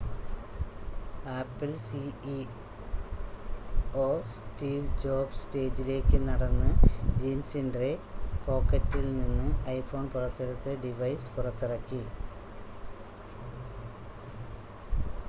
apple CEO Steve Jobs സ്റ്റേജിലേക്ക് നടന്ന് ജീൻസിൻ്റെ പോക്കറ്റിൽ നിന്ന് ഐഫോൺ പുറത്തെടുത്ത് ഡിവൈസ് പുറത്തിറക്കി